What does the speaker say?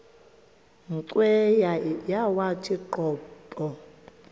cweya yawathi qobo